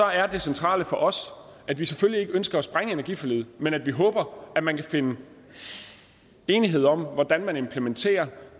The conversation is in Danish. er det centrale for os at vi selvfølgelig ikke ønsker at sprænge energiforliget men at vi håber at man kan finde enighed om hvordan man implementerer